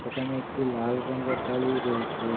একানে একটি লাল রঙ্গের গাড়িও রয়েসে ।